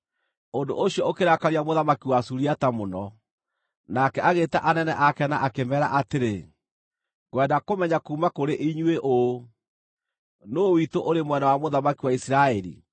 Ũndũ ũcio ũkĩrakaria mũthamaki wa Suriata mũno. Nake agĩĩta anene ake na akĩmeera atĩrĩ, “Ngwenda kũmenya kuuma kũrĩ inyuĩ ũũ, nũũ witũ ũrĩ mwena wa mũthamaki wa Isiraeli?”